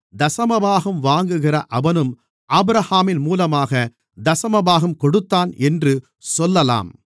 தசமபாகம் வாங்குகிற அவனும் ஆபிரகாமின் மூலமாகத் தசமபாகம் கொடுத்தான் என்று சொல்லலாம்